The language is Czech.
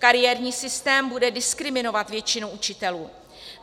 Kariérní systém bude diskriminovat většinu učitelů.